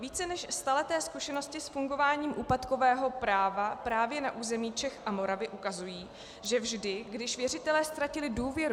Více než staleté zkušenosti s fungováním úpadkového práva právě na území Čech a Moravy ukazují, že vždy, když věřitelé ztratili důvěru...